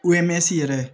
yɛrɛ